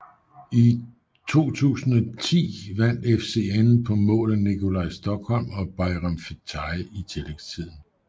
I 2010 vandt FCN på mål af Nicolai Stokholm og Bajram Fetai i tillægstiden